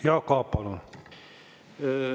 Jaak Aab, palun!